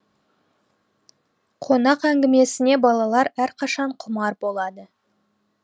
қонақ әңгімесіне балалар әрқашан құмар болады